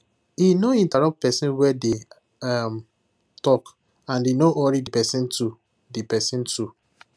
he no interrupt person wey dey um talkand he no hurry the person too the person too